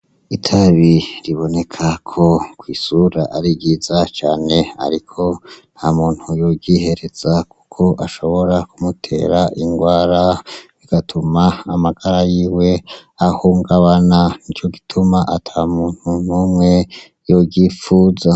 Itabi riboneka ko kwisura ari ryiza cane ariko nta muntu yo ryihereza kuko ahobora kumutera ingwara rigatuma amagara yiwe ahungabana nico gituma ata muntu n'umwe yoryipfuza.